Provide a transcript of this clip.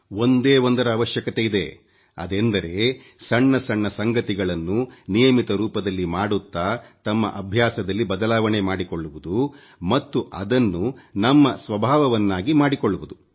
ಒಂದೇ ಒಂದರ ಅವಶ್ಯಕತೆ ಇದೆ ಅದೆಂದರೆ ಸಣ್ಣ ಸಣ್ಣ ಸಂಗತಿಗಳನ್ನು ನಿಯಮಿತ ರೂಪದಲ್ಲಿ ಮಾಡುತ್ತಾ ತಮ್ಮ ಅಭ್ಯಾಸದಲ್ಲಿ ಬದಲಾವಣೆ ಮಾಡಿಕೊಳ್ಳುವುದು ಮತ್ತು ಅದನ್ನು ನಮ್ಮ ಸ್ವಭಾವವನ್ನಾಗಿ ಮಾಡಿಕೊಳ್ಳುವುದು